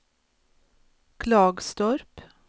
Klagstorp